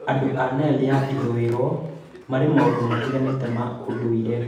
Andũ a Nile ya ithũĩro marĩ na maũndũ matiganĩte ma ũndũire